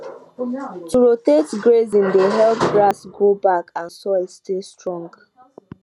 to rotate grazing dey help grass grow back and soil stay strong